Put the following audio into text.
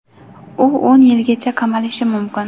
u o‘n yilgacha qamalishi mumkin.